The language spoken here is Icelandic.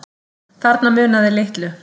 Þarna munaði litlu